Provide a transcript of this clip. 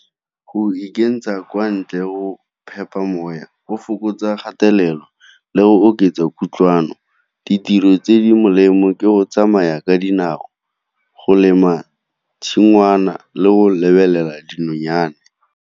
Go ikentsha kwa ntle go moya go fokotsa kgatelelo, le go oketsa kutlwano. Ditiro tse di molemo ke go tsamaya ka dinao, go lema tshingwana, le go lebelela dinonyane.